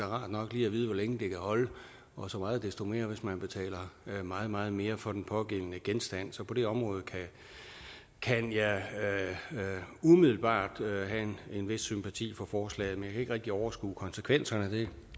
rart nok lige at vide hvor længe det kan holde og så meget desto mere hvis man betaler meget meget mere for den pågældende genstand så på det område kan jeg umiddelbart have en vis sympati for forslaget men ikke rigtig overskue konsekvenserne det